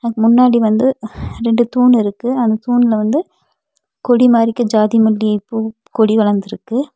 முன்னாடி வந்து ரெண்டு தூண் இருக்கு அந்த தூண்ல வந்து கொடி மாதிரி இருக்க ஜாதிமல்லி பூ கொடி வளந்திருக்கு.